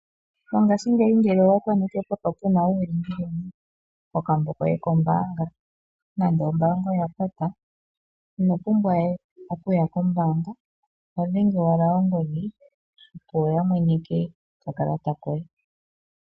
Mongashingeyi ngele owakoneke pwafa puna uulingilingi kokambo koye kombaanga, nando ombaanga oya pata, ino pumbwa we okuya kombaanga. Oho dhenge owala ongodhi opo ya mweneke oka kalata koye.